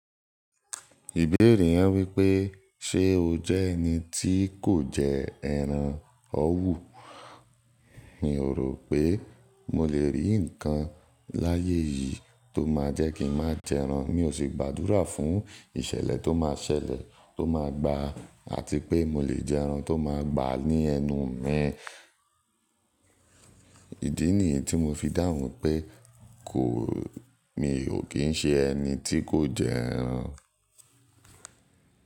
Ìbéèrè yẹn wípé, ṣe o jẹ́ ẹni tí kò jẹ ẹran òwú? Mi ò rò pé mo lè rí ǹkan láyé yìí tó má jẹ́ kí n má jẹ ẹran, mi ò sì gbàdúrà fún ìṣẹ̀lẹ̀ tó má ṣẹlẹ̀ tó má gba àti pé mo lè jẹ ẹran tó má gbà ní ẹnu mi. Idi nìyí tí mo fi dáhùn pé mi ò kí ń ṣe ẹni tí kò jẹ ẹran.